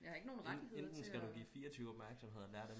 Jeg har ikke nogen rettigheder til at